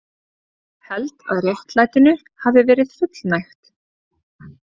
Held að réttlætinu hafi verið fullnægt